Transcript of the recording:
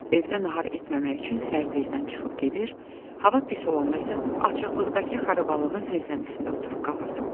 Evdə nahar etməmək üçün səhər tezdən çıxıb gedir, hava pis olanda isə açıqlıqdakı xarabalığın zirzəmisində oturub qalırdım.